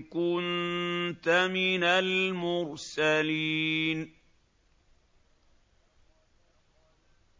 كُنتَ مِنَ الْمُرْسَلِينَ